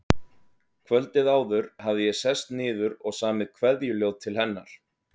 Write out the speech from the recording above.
Kvöldið áður hafði ég sest niður og samið kveðjuljóð til hennar.